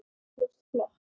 Þú varst flott